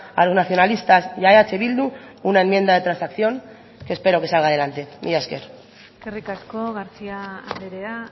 a los nacionalistas y a eh bildu una enmienda de transacción que espero que salga adelante mila esker eskerrik asko garcía andrea